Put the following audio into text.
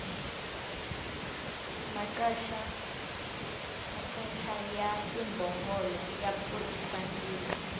maqacha ya timbhongolo ya pfurhisa ndzilo